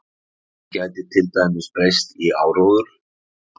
Hún gæti til dæmis breyst í áróður.